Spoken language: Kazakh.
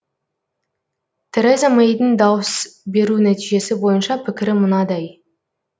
тереза мэйдің дауыс беру нәтижесі бойынша пікірі мынадай